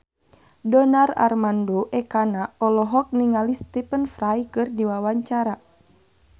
Donar Armando Ekana olohok ningali Stephen Fry keur diwawancara